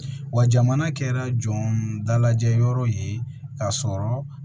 Wa jamana kɛra jɔndalajɛyɔrɔ ye ka sɔrɔ